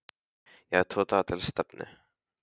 Ég hafði tvo daga til stefnu.